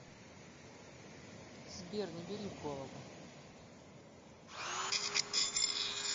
сбер не бери в голову